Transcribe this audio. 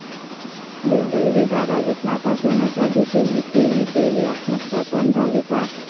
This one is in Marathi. दुर्दैवी!, बारावीत नापास होण्याच्या भीतीने 'ती'ने केली आत्महत्या पण झाली पास